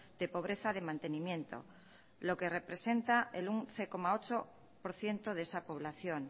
de pobreza de mantenimiento lo que representa el once coma ocho por ciento de esa población